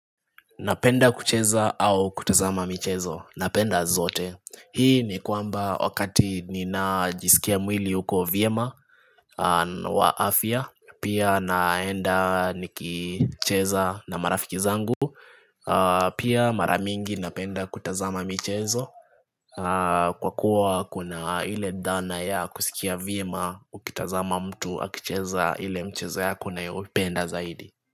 Napenda kucheza au kutazama michezo. Napenda zote. Hii ni kwamba wakati ninajisikia mwili huko vyema wa afya. Pia naenda nikicheza na marafiki zangu. Pia maramingi napenda kutazama mchezo. Kwa kuwa kuna ile dhana ya kusikia vyema ukitazama mtu akicheza ile mchezo yako unayoipenda zaidi.